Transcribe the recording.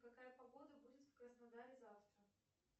какая погода будет в краснодаре завтра